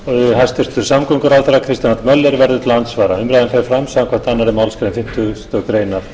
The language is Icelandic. hæstvirtur samgönguráðherra kristján l möller verður til andsvara umræðan fer fram samkvæmt annarri málsgrein fimmtugustu grein